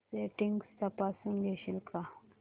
settings तपासून घेशील का